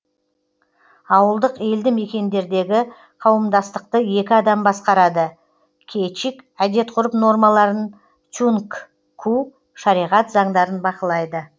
ауылдық елді мекендердегі қауымдастықты екі адам басқарады кечик әдет ғұрып нормаларын тюнгку шариғат заңдарын бақылайды